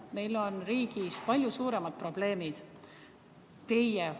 Meil on riigis palju suuremad probleemid.